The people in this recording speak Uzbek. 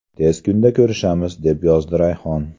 Tez kunda ko‘rishamiz”, deb yozdi Rayhon.